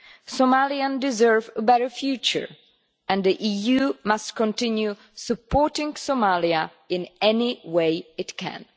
Somalians deserve a better future, and the EU must continue supporting Somalia in any way it can.